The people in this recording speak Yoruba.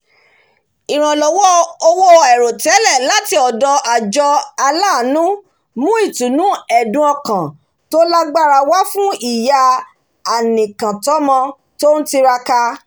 ìrànlọ́wọ́ owó àìròtẹ́lẹ̀ láti ọ̀dọ̀ àjọ aláàánú mú ìtùnú ẹ̀dùn-ọkàn tó lágbára wá fún ìyá anìkàntọ́mọ tó ń tiraka